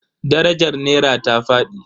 Darajar nera ta fadi.